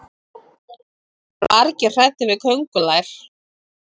það eru margir hræddir við köngulær